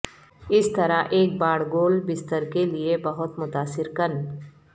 اس طرح ایک باڑ گول بستر کے لئے بہت متاثر کن